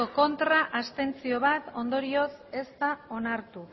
ez bat abstentzio ondorioz ez da onartu